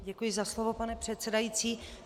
Děkuji za slovo, pane předsedající.